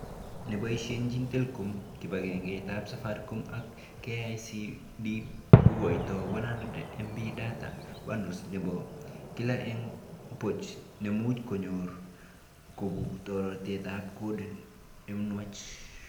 Neboishenchin telecom, kibagengeitab Safaricom ak KICD kokoito 100MB data bundles nebo kila eng boch nemuch kenyor kobu toreteab code nenwach